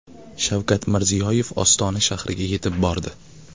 Shavkat Mirziyoyev Ostona shahriga yetib bordi.